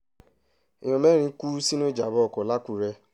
èèyàn mẹ́rin kú sínú ìjàm̀bá ọkọ̀ làkúrẹ́